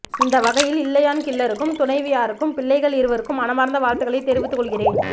இந்த வகையில் இலையான் கில்லருக்கும் துணைவியாருக்கும் பிள்ளைகள் இருவருக்கும் மனமார்ந்த வாழ்த்துகளை தெரிவித்துக் கொள்கிறேன்